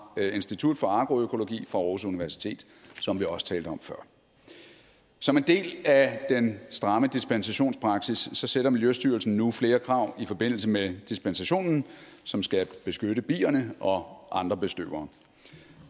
institut for agroøkologi aarhus universitet som vi også talte om før som en del af den stramme dispensationspraksis stiller miljøstyrelsen nu flere krav i forbindelse med dispensationen som skal beskytte bierne og andre bestøvere